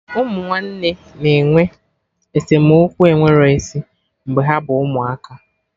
Ụmụ nwanne na-enwe esemokwu enwero isi mgbe ha bụ ụmụaka